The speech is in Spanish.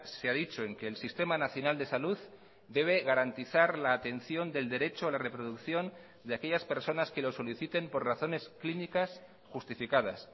se ha dicho en que el sistema nacional de salud debe garantizar la atención del derecho a la reproducción de aquellas personas que lo soliciten por razones clínicas justificadas